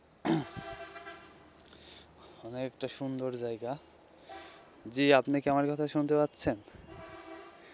অনেকটা সুন্দর জায়গা জী আপনি কি আমার কথা শুনতে পাচ্ছেন.